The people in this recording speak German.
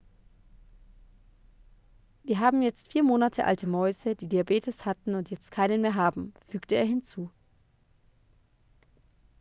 wir haben jetzt 4 monate alte mäuse die diabetes hatten und jetzt keinen mehr haben fügte er hinzu